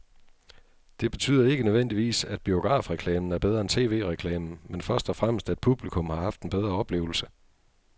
Det betyder ikke nødvendigvis, at biografreklamen er bedre end tv-reklamen, men først og fremmest at publikum har haft en bedre oplevelse.